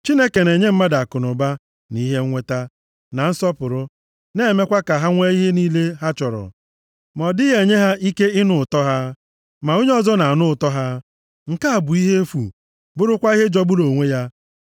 Chineke na-enye mmadụ akụnụba, na ihe nnweta, na nsọpụrụ, na-emekwa ka ha nwee ihe niile ha chọrọ, ma ọ dịghị enye ha ike ịnụ ụtọ ha; ma onye ọzọ na-anụ ụtọ ha. Nke a bụ ihe efu, bụrụkwa ihe jọgburu onwe ya.